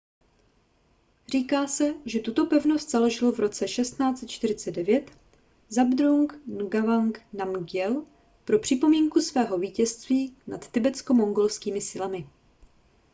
říká se že tuto pevnost založil v roce 1649 zhabdrung ngawang namgyel pro připomínku svého vítězství nad tibetsko-mongolskými silami